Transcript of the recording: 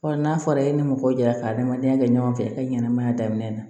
n'a fɔra e ni mɔgɔ jɛla ka adamadenya kɛ ɲɔgɔn fɛ i ka ɲɛnamaya daminɛ na